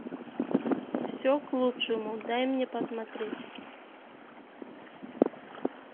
все к лучшему дай мне посмотреть